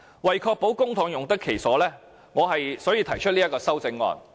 為確保公帑用得其所，我因此提出修正案。